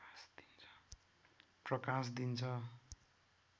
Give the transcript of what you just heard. प्रकाश दिन्छ